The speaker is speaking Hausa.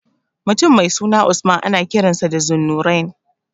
Mutum mai suna Usman ana kiransa da Zunnurain.